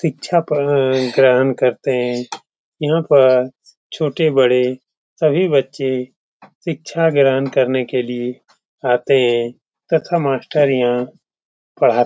शिक्षा ग्रहण करते है। यहाँ पर छोटे बड़े सभी बच्चे शिक्षा ग्रहण करने के लिए आते है। तथा मास्टर यहां पढाते --